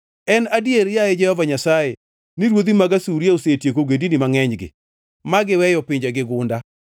“En adier, yaye Jehova Nyasaye, ni ruodhi mag Asuria osetieko ogendini mangʼenygi ma giweyo pinjegi gunda.